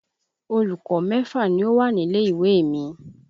Olùkọ́ mẹ́fà ni ó wà nílé ìwé mi.